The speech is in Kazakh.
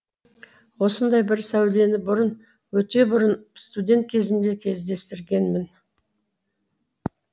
осындай бір сәулені бұрын өте бұрын студент кезімде кездестіргенмін